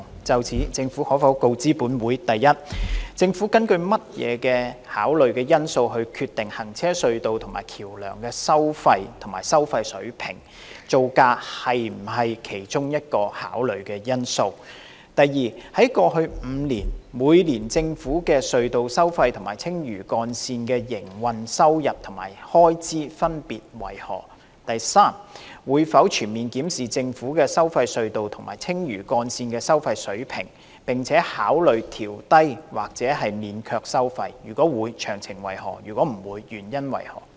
就此，政府可否告知本會：一政府根據甚麼考慮因素決定行車隧道及橋樑是否收費及收費水平；造價是否考慮因素之一；二過去5年，每年政府的收費隧道及青嶼幹線的營運收入及開支分別為何；及三會否全面檢視政府的收費隧道及青嶼幹線的收費水平，並考慮調低或免卻收費；如會，詳情為何；如否，原因為何？